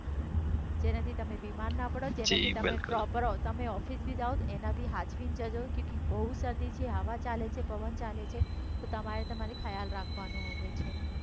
જેનાથી તમે બીમાર ના પાડો. જી બિલકુલ. જેનાથી તમે ઓફિસે જાઓ એનાથી સાચવીને જાઓ તો બઉ શરદી છે હવા ચાલે છે પવન ચાલે છે તો તમારે તમારો ખ્યાલ રાખવાનો હવે છે.